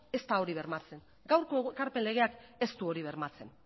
ez da hori bermatzen gaurko ekarpen legeak ez du hori bermatzen